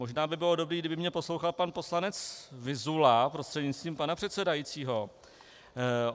Možná by bylo dobré, kdyby mě poslouchal pan poslanec Vyzula prostřednictvím pana předsedajícího.